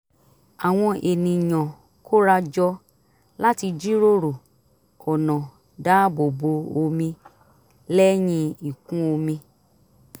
àwọn ènìyàn kóra jọ láti jíròrò ọ̀nà dáàbò bo omi lẹ́yìn ìkún omi